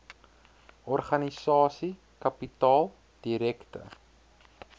organisasie kapitaal direkte